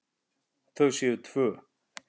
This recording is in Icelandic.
Þau séu tvö.